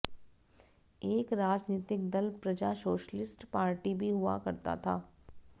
एक राजनीतिक दल प्रजा सोशलिस्ट पार्टी भी हुआ करता था